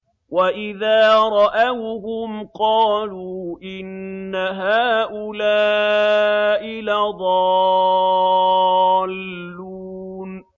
وَإِذَا رَأَوْهُمْ قَالُوا إِنَّ هَٰؤُلَاءِ لَضَالُّونَ